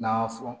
N'a y'a fɔ